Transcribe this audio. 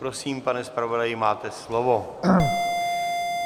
Prosím, pane zpravodaji, máte slovo.